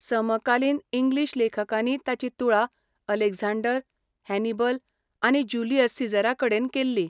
समकालीन इंग्लीश लेखकांनी ताची तुळा अलेक्झांडर, हॅनिबल आनी ज्युलियस सीझराकडेन केल्ली.